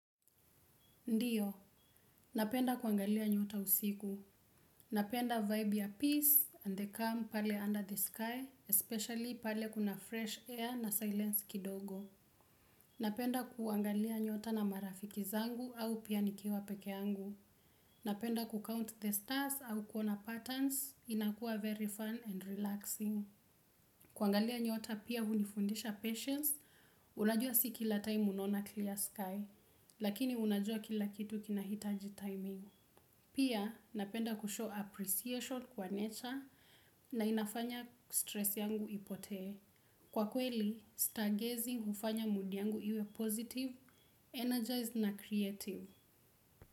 Ndiyo. Napenda kuangalia nyota usiku. Napenda vibe ya peace and the calm pale under the sky, especially pale kuna fresh air na silence kidogo. Napenda kuangalia nyota na marafiki zangu au pia nikiwa peke yangu. Napenda kucount the stars au kuona patterns inakuwa very fun and relaxing. Kuangalia nyota pia hunifundisha patience. Unajua si kila time unaona clear sky, lakini unajua kila kitu kinahitaji timing. Pia napenda kushow appreciation kwa nature na inafanya stress yangu ipotee. Kwa kweli, stargazing hufanya mood yangu iwe positive, energized na creative.